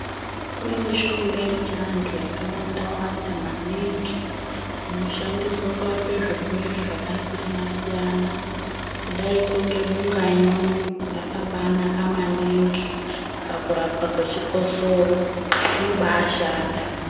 Kune mishonga yechiantu yakawanda wanda maningi inoshandiswe kurapa zvirwere zvakasiyana siyana kudaiko ngebunganyunyu rakabaanaka maningi pakurapwa kwechikosoro rinobaashanda.